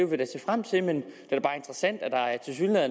vil vi se frem til men det